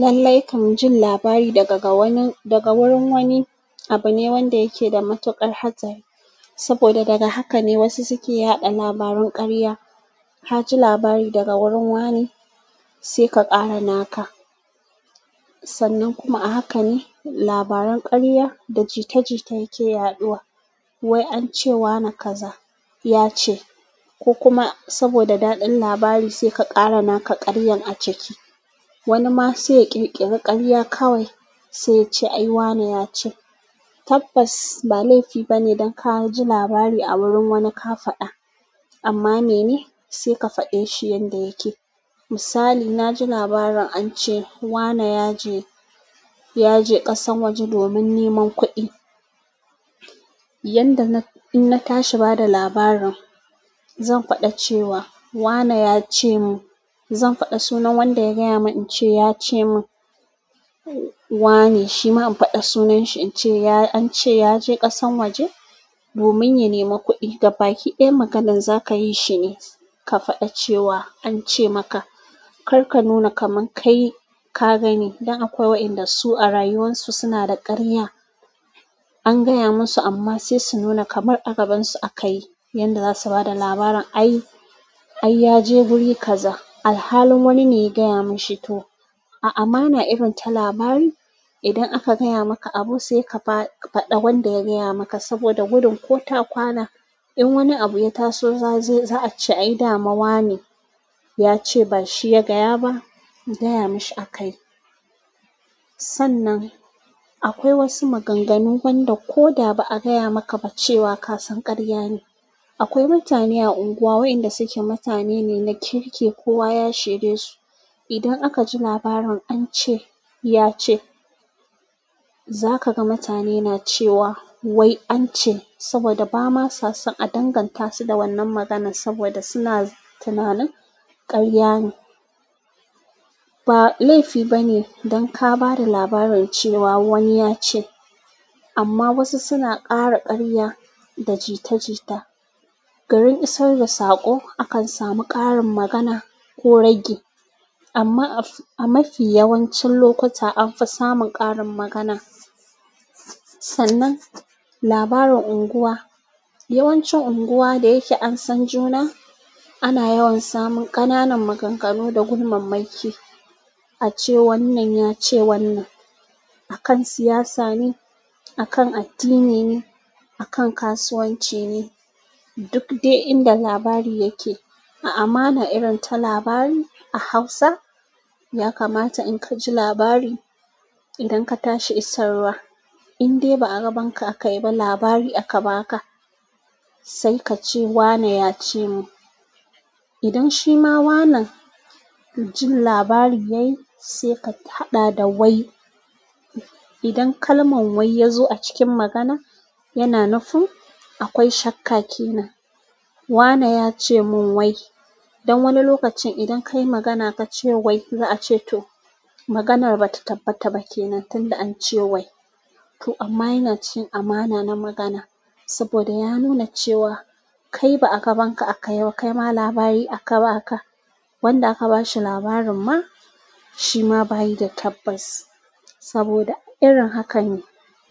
Lallai kam jin labari daga wurin wani abu ne wanda yake da matuƙar hatsari saboda daga hakane wasu suke yada labaran karya kaji labari daga wurin wane sai ka ƙara naka. Sannan kuma a haka ne labaran ƙarya da jita-jita yake yaɗuwa. "Wai an ce wane kaza ya ce." ko kuma saboda daɗin labari sai ka ƙara naka ƙaryan a ciki. Wani ma sai ya kirkiri karya kawai se yace ai wane yace tabbas ba laifi bane idan kaji labari a wurin wani ka faɗa amma mene saika fade shi yanda yake misali, na ji labarin an ce wane ya je ƙasan waje domin neman kuɗi. In na tashi bada labarin zan faɗi cewa wane yacemin zan faɗa sunan wanda ya gaya mun in ce "ya ce mun wane", shi ma in faɗa sunan shi in ce "an ce ya je ƙasan waje domin ya nemi kuɗi". Gabaki ɗaya maganan za ka yi shine ka faɗa cewa "an ce maka", kar ka nuna kaman kai ka gani. Dan akwai waɗanda su a rayuwan su suna da ƙarya. An gaya musu amma sai su nuna kamar a gaban su akayi. Yanda za su bada labarin "ai ya je guri kaza", alhalin wani ne ya gaya mishi to. A' amana irin ta labari. Idan aka gaya maka abu sai ka faɗa wanda ya gaya maka saboda gudin ko ta kwana in wani abu ya taso za a ce "ai dama wane ya ce", ba shi ya gaya ba, gaya mishi a kayi. Sannan, akwai wasu maganganu wanda ko da ba a gaya maka ba cewa ka san ƙarya ne. Akwai mutane a unguwa waɗanda su ke mutane ne na kirki, kowa ya shedesu. Idan aka ji labarin "an ce ya ce", za ka ga mutane na cewa "wai an ce" saboda ba ma sa son a danganta su da wannan maganan saboda suna tunanin ƙarya ne. Ba laifi bane dan ka bada labarin cewa wani ya ce amma wasu suna ƙara ƙarya da jita-jita. Garin isar da saƙo akan samu ƙarin magana ko ragi amma a mafi yawancin lokuta an fi samun ƙarin magana. Sannan, labarin unguwa. Yawancin unguwa da yake an san juna, ana yawan samun ƙananan maganganu da gulmamma ki. "A ce wannan, ya ce wannan". A kan siyasa ne, a kan addini ne, a kan kasuwanci ne, duk dai inda labari yake. A'a, ma na irin ta labari a Hausa ya kamata in ka ji labari idan ka tashi isarwa. In dai ba a gaban ka aka yi ba labari aka ba ka, sai ka ce "wane ya ce mun". Idan shi ma wanan jin labarin ya yi sai ka haɗa da "wai". Idan kalman "wai" ya zo a cikin magana, yana nufin akwai shakka ke nan. "Wane ya ce mun wai". Don wani lokacin idan ka yi magana ka ce "wai", za a ce to maganar ba ta tabbata ba kenan tunda an ce "wai". To amma yana cikin amana na magana saboda ya nuna cewa kai ba a gaban ka aka yi ba, kai ma labari aka ba ka. Wanda aka ba shi labarin ma shi ma bai yi da tabbas saboda irin hakan ne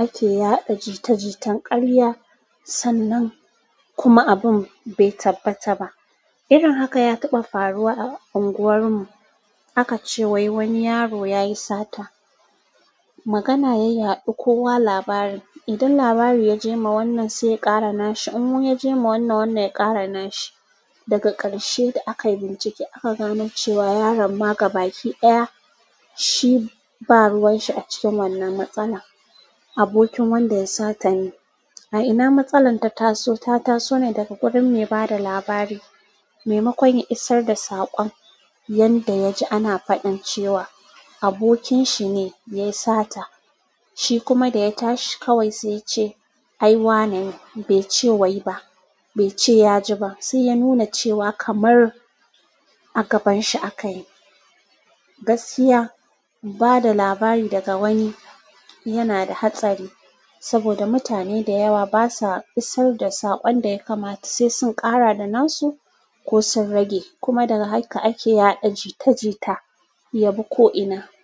ake yaɗa jita-jitan ƙarya. Sannan kuma abun bai tabbata ba. Irin haka ya taɓa faruwa a unguwar mu. Aka ce wai wani yaro ya yi sata. Magana ya yaɗu kowa labarin. Idan labari ya je ma wannan sai ya ƙara na shi. In ya je ma wannan, wannan ya ƙara na shi. Daga ƙarshe da akai bincike aka gano cewa yaron ma gabaki ɗaya shi ba ruwan shi a cikin wannan matsala. Abokin wanda ya sata ne. A ina matsalar ta taso, ta taso ne daga wurin me bada labari, me makon ya isar da saƙon. Yanda ya ji ana faɗan cewa abokin shi ne yayi sata, shi kuma da ya tashi kawai sai ya ce "ai wane", bai ce "wai" ba, bai ce ya ji ba. Sai ya nuna cewa kamar a gaban shi akayi. Gaskiya, bada labari daga wani yana da hatsari saboda mutane da yawa basa isar da saƙon da ya kamata sai sun ƙara da nasu ko sun rage. Kuma daga haka ake yada jita jita yabi ko ina.